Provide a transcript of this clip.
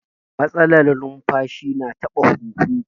Matsalar numfashi na taɓa huhu